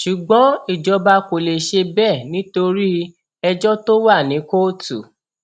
ṣùgbọn ìjọba kò lè ṣe bẹẹ nítorí ẹjọ tó wà ní kóòtù